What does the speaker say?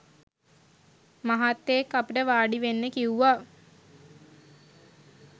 මහත්තයෙක්‌ අපිට වාඩිවෙන්න කිව්වා.